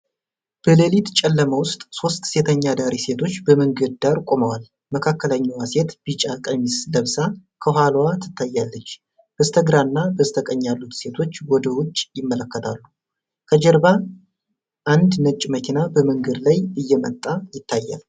በሌሊት ጨለማ ውስጥ ሶስት ሴተኛ አዳሪ ሴቶች በመንገድ ዳር ቆመዋል። መካከለኛዋ ሴት ቢጫ ቀሚስ ለብሳ ከኋላዋ ትታያለች። በስተግራና በስተቀኝ ያሉት ሴቶች ወደ ውጭ ይመለከታሉ። ከጀርባ አንድ ነጭ መኪና በመንገድ ላይ እየመጣ ይታያል።